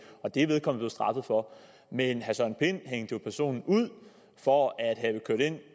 og det er vedkommende blevet straffet for men herre søren pind hængte jo personen ud for at have kørt ind